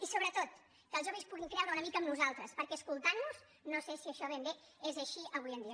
i sobretot que els joves puguin creure una mica en nosaltres perquè escoltant nos no sé si això ben bé és així avui en dia